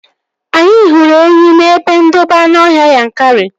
Anyị hụrụ enyi n'ebe ndobe anụọhịa Yankari